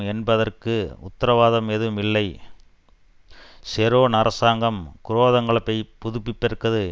என்பதற்கு உத்தரவாதம் எதுவும் இல்லை ஷெரோன் அரசாங்கம் குரோதங்களைப் புதுப்பிப்பதற்கு